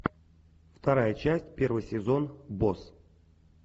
вторая часть первый сезон босс